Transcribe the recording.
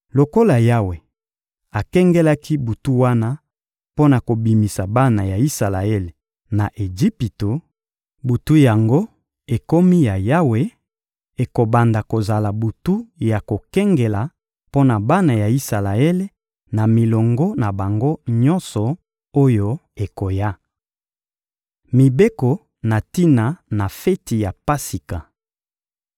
Lokola Yawe akengelaki butu wana mpo na kobimisa bana ya Isalaele na Ejipito, butu yango ekomi ya Yawe: ekobanda kozala butu ya kokengela mpo na bana ya Isalaele na milongo na bango nyonso oyo ekoya. Mibeko na tina na feti ya Pasika